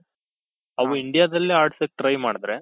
ಅವು Indiaದಲ್ಲೇ ಆಡ್ಸಕ್ try ಮಾಡ್ದ್ರೆ